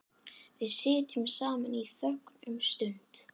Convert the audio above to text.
Við sitjum saman í þögn um stund.